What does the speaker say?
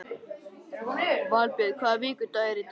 Valbjörn, hvaða vikudagur er í dag?